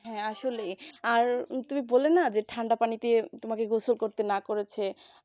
হ্যাঁ আসলে আর তুমি বললে না যে ঠান্ডা পানিতে তোমাকে গোসল করতে না করেছে